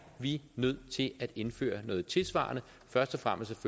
vi nødt til at indføre noget tilsvarende først og fremmest